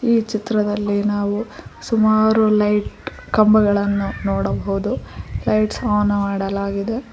ಈ ಚಿತ್ರದಲ್ಲಿ ನಾವು ಸುಮಾರು ಲೈಟ್ ಕಂಬಗಳನ್ನು ನೋಡಬೌದು ಲೈಟ್ಸ್ ಆನ್ ಮಾಡಲಾಗಿದೆ.